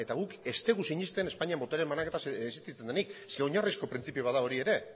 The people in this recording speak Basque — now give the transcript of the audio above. guk ez dugu sinesten espainian botere banaketa existitzen denik zeren eta oinarrizko printzipio bat da hori ere